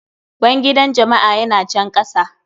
Bangidan jama'a ya na can kasa.